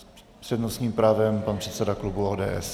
S přednostním právem pan předseda klubu ODS.